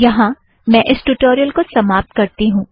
यहाँ मैं इस ट्यूटोरियल को समाप्त करती हूँ